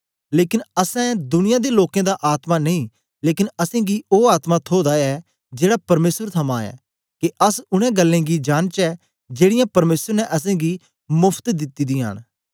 लेकन असैं दुनिया दे लोकें दा आत्मा नेई लेकन असेंगी ओ आत्मा थोदा ऐ जेड़ा परमेसर थमां ऐ के अस उनै गल्लें गी जांनचै जेड़ीयां परमेसर ने असेंगी मोफ्त दिती दियां न